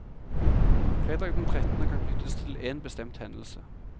Fredag den trettende kan knyttes til én bestemt hendelse.